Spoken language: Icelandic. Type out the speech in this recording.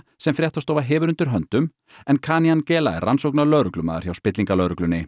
sem fréttastofa hefur undir höndum en Kanyangela er rannsóknarlögreglumaður hjá